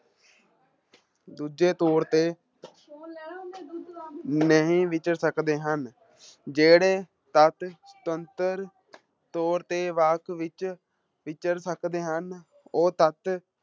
ਦੂਜੇ ਤੌਰ ਤੇ ਨਹੀਂ ਵਿਚਰ ਸਕਦੇ ਹਨ, ਜਿਹੜੇ ਤੱਤ ਸੁਤੰਤਰ ਤੌਰ ਤੇ ਵਾਕ ਵਿੱਚ ਵਿਚਰ ਸਕਦੇ ਹਨ, ਉਹ ਤੱਤ